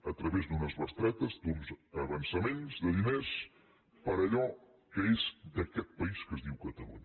a través d’unes bestretes d’uns avançaments de diners per allò que és d’aquest país que es diu catalunya